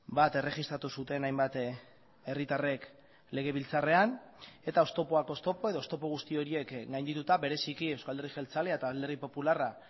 bat erregistratu zuten hainbat herritarrek legebiltzarrean eta oztopoak oztopo edo oztopo guzti horiek gaindituta bereziki euzko alderdi jeltzalea eta alderdi popularra